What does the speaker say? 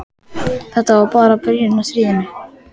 En þetta var bara byrjunin á stríðinu.